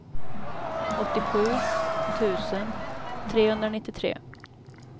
åttiosju tusen trehundranittiotre